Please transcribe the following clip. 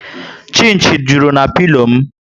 Chinchi juru na pilo m